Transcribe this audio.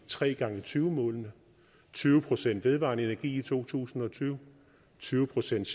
3x20 målene tyve procent vedvarende energi i to tusind og tyve tyve procent